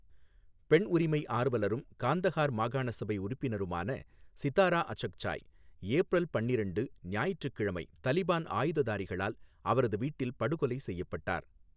பெண் உரிமை ஆர்வலரும், காந்தஹார் மாகாண சபை உறுப்பினருமான சிதாரா அச்சக்சாய், ஏப்ரல் பன்னிரண்டு, ஞாயிற்றுக்கிழமை, தலிபான் ஆயுததாரிகளால் அவரது வீட்டில் படுகொலை செய்யப்பட்டார்.